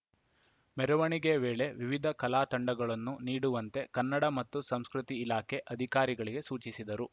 ಮೆರವಣಿಗೆ ವೇಳೆ ವಿವಿಧ ಕಲಾ ತಂಡಗಳನ್ನು ನೀಡುವಂತೆ ಕನ್ನಡ ಮತ್ತು ಸಂಸ್ಕೃತಿ ಇಲಾಖೆ ಅಧಿಕಾರಿಗೆ ಸೂಚಿಸಿದರು